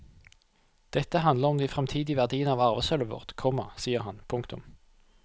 Dette handler om de fremtidige verdiene av arvesølvet vårt, komma sier han. punktum